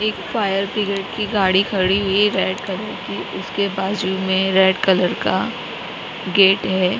एक fire brigade की गाड़ी खड़ी हुई है रेड कलर की उसके बाजू मे रेड कलर का गेट है।